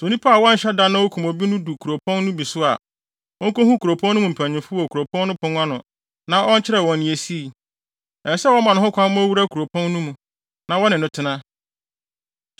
Sɛ onipa a wanhyɛ da na okum obi no du kuropɔn no bi so a, onkohu kuropɔn no mu mpanyimfo wɔ kuropɔn no pon ano na ɔnkyerɛ wɔn nea esii. Ɛsɛ sɛ wɔma ho kwan ma owura kuropɔn no mu, na wɔne no tena.